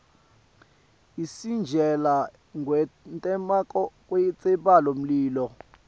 isitjela ngkwenteka kwentsaba mlilo